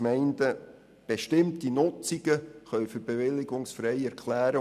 Gemeinden können bestimmte Nutzungen für be- willigungsfrei erklären.